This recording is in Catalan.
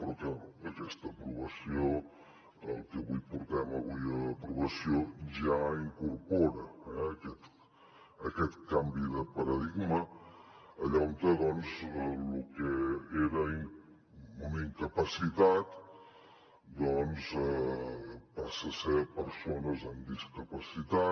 però aquesta aprovació el que portem avui a aprovació ja incorpora eh aquest canvi de paradigma allà on lo que era una incapacitat passa a ser persones amb discapacitat